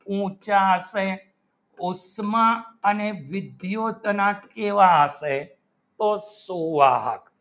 ઊંચા હશે ઊંચા ને વિદ્યુતના કેવા હશે શું સ્વાહ